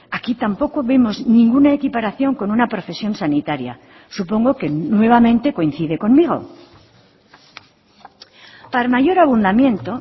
aquí tampoco vemos ninguna equiparación con una profesión sanitaria supongo que nuevamente coincide conmigo para mayor abundamiento